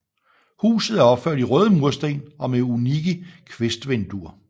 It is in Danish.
Huset er opført i røde mursten og med unikke kvistvinduer